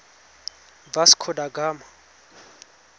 vasco da gama